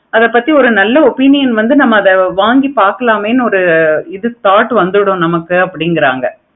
அத பத்தி ஒரு நல்ல opinion வந்து நம்ம அத வாங்கி பார்க்கலாமே அப்படினு ஒரு இது thought வந்துரும் அப்படிங்கிறாங்க